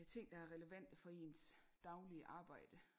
Ting der er relevante for ens daglige arbejde